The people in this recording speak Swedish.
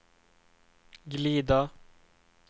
glida